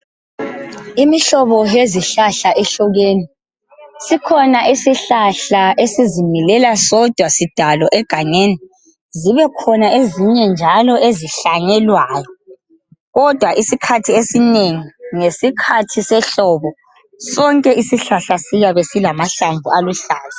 Imihlobo yezihlahla ihlukene. Sikhona isihlahla esizimilela sodwa sidalo egangeni. Zibekhona ezinye njalo ezihlanyelwayo, kodwa isikhathi esinengi, ngesikhathi sehlobo sonke isihlahla siyabe silamahlamvu aluhlaza.